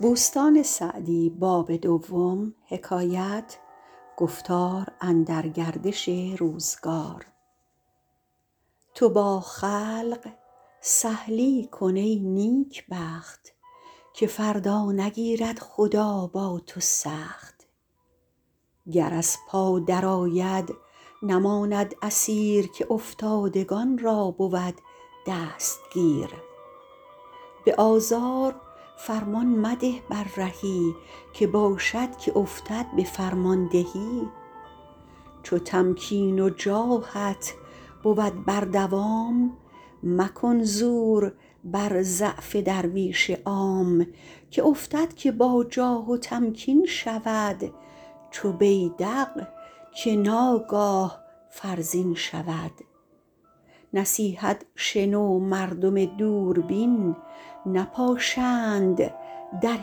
تو با خلق سهلی کن ای نیکبخت که فردا نگیرد خدا با تو سخت گر از پا در آید نماند اسیر که افتادگان را بود دستگیر به آزار فرمان مده بر رهی که باشد که افتد به فرماندهی چو تمکین و جاهت بود بر دوام مکن زور بر ضعف درویش عام که افتد که با جاه و تمکین شود چو بیدق که ناگاه فرزین شود نصیحت شنو مردم دوربین نپاشند در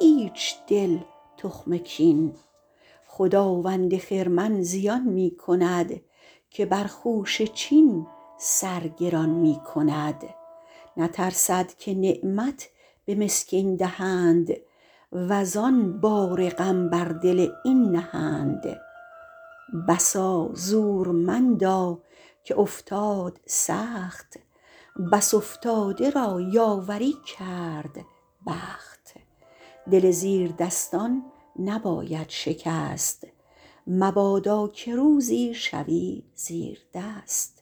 هیچ دل تخم کین خداوند خرمن زیان می کند که بر خوشه چین سر گران می کند نترسد که نعمت به مسکین دهند وزآن بار غم بر دل این نهند بسا زورمندا که افتاد سخت بس افتاده را یاوری کرد بخت دل زیر دستان نباید شکست مبادا که روزی شوی زیردست